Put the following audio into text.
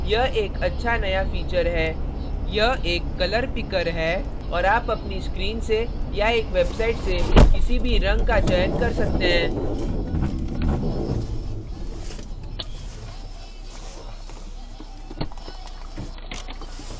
यह एक अच्छा नया feature है यह एक कलरपिकर है और आप अपनी screen से या एक वेबसाईट से किसी भी रंग का चयन कर सकते हैं